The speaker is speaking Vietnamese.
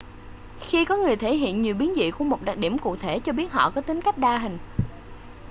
khi có người thể hiện nhiều biến dị của một đặc điểm cụ thể cho biết họ có tính cách đa hình